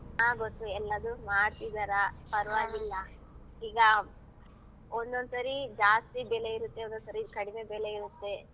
ಹ ಗೊತ್ತು ಎಲ್ಲದು ಮಾಡ್ಸಿದರ ಪರ್ವಾಗಿಲ್ಲ. ಇಗ ಒನ್ನೊಂದ್ಸರಿ ಜಾಸ್ತಿ ಬೆಲೆ ಇರತ್ತೆ ಒನ್ನೊಂದ್ಸರಿ ಕಡಿಮೆ ಬೆಲೆ ಇರತ್ತೆ.